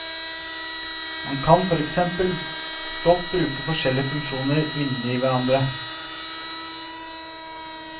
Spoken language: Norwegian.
Man kan for eksempel godt bruke forskjellige funksjoner inne i hverandre.